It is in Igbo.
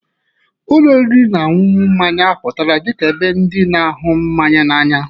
Ụlọ oriri na ọṅụṅụ mmanya apụtala dị ka ebe ndị na-ahụ mmanya n'anya.